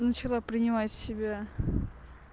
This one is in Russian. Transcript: начала принимать в себя